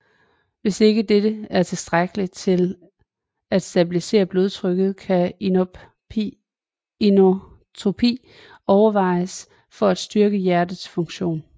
Hvis ikke dette er tilstrækkeligt til at stabilisere blodtrykket kan inotropi overvejes for at styrke hjertets funktion